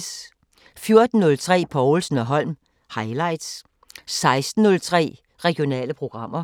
14:03: Povlsen & Holm: Highlights 16:03: Regionale programmer